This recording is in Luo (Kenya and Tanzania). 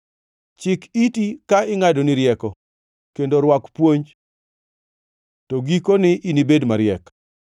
Chik iti ka ingʼadoni rieko kendo rwak puonj, to giko ni inibed mariek.